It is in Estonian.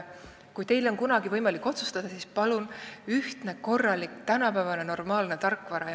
Kui teil on kunagi võimalik selle üle otsustada, siis palun ühtset, korralikku, tänapäevast ja normaalset tarkvara.